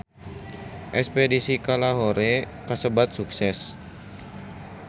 Espedisi ka Lahore kasebat sukses